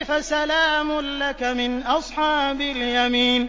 فَسَلَامٌ لَّكَ مِنْ أَصْحَابِ الْيَمِينِ